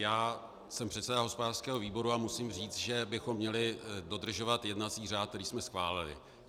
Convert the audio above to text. Já jsem předseda hospodářského výboru a musím říct, že bychom měli dodržovat jednací řád, který jsme schválili.